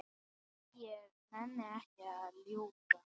Ég nenni ekki að ljúga.